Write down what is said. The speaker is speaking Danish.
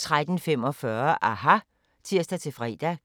13:45: aHA! (tir-fre)